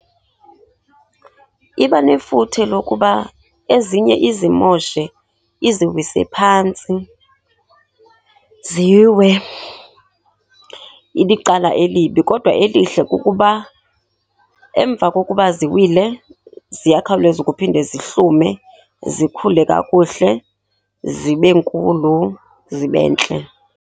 Iba nefuthe lokuba ezinye izimoshe, iziwise phantsi ziwe, ilicala elibi. Kodwa elihle kukuba emva kokuba ziwile ziyakhawuleza ukuphinde zihlume, zikhule kakuhle zibe nkulu, zibe ntle.